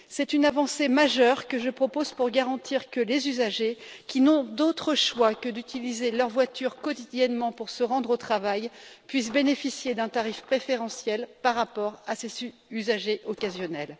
C'est une avancée majeure que je propose pour garantir que les usagers qui n'ont d'autres choix que d'utiliser leur voiture quotidiennement pour se rendre au travail puissent bénéficier d'un tarif préférentiel par rapport aux usagers occasionnels.